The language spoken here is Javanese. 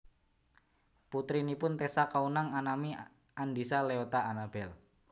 Putrinipun Tessa Kaunang anami Andisa Leota Anabel